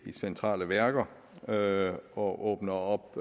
i centrale værker og og åbner op